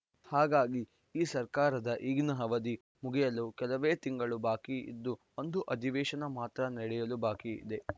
ಹಾಗಾಗಿ ಈ ಸರ್ಕಾರದ ಈಗಿನ ಅವಧಿ ಮುಗಿಯಲು ಕೆಲವೇ ತಿಂಗಳು ಬಾಕಿ ಇದ್ದು ಒಂದು ಅಧಿವೇಶನ ಮಾತ್ರ ನಡೆಯಲು ಬಾಕಿ ಇದೆ